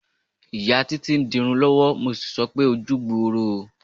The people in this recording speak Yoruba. Ìyá Títí ń di irun lọ́wọ́, mo sì sọ pé "ojú gbooro o".